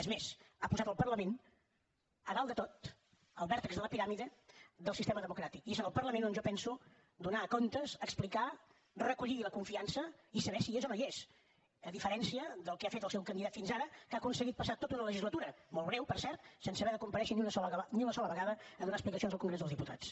és més ha posat el parlament a dalt de tot al vèrtex de la piràmide del sistema democràtic i és en el parlament on jo penso donar comptes explicar recollir la confiança i saber si hi és o no hi és a diferència del que ha fet el seu candidat fins ara que ha aconseguit passar tota una legislatura molt breu per cert sense haver de comparèixer ni una sola vegada a donar explicacions al congrés dels diputats